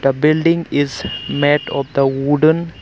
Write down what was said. The building is made of the wooden --